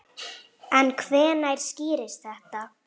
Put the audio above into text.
En hvenær skýrist þetta?